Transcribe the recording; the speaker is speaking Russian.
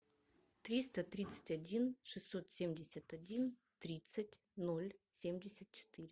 триста тридцать один шестьсот семьдесят один тридцать ноль семьдесят четыре